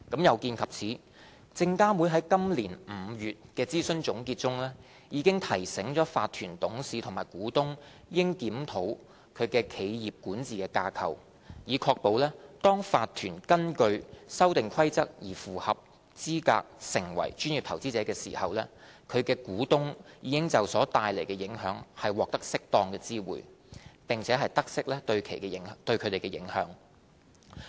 有見及此，證監會在今年5月的諮詢總結中，已提醒法團董事或股東應檢討其企業管治架構，以確保當法團根據《修訂規則》而符合資格成為專業投資者時，其股東已就所帶來的影響獲適當知會，並得悉對其的影響。